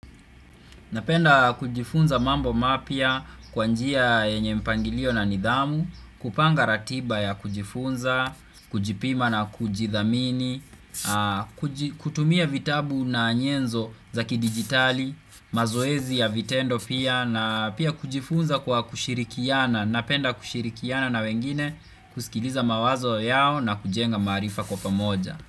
Napenda kujifunza mambo mapya kwa njia yenye mpangilio na nidhamu. Kupanga ratiba ya kujifunza, kujipima na kujidhamini, kutumia vitabu na nyenzo za kidigitali, mazoezi ya vitendo pia na pia kujifunza kwa kushirikiana. Napenda kushirikiana na wengine, kusikiliza mawazo yao na kujenga maarifa kwa pamoja.